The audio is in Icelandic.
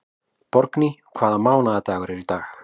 Borgný, hvaða mánaðardagur er í dag?